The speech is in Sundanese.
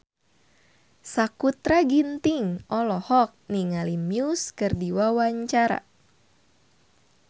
Sakutra Ginting olohok ningali Muse keur diwawancara